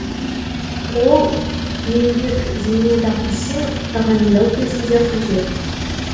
л еңбек зейнетақысын тағайындау кезінде қажет